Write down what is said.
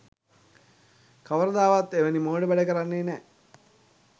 කවරදාකවත් එවැනි මෝඩ වැඩ කරන්නේ නෑ.